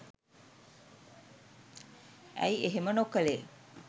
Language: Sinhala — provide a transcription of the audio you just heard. ඇයි එහෙම නොකළේ